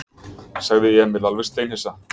sagði Emil alveg steinhissa.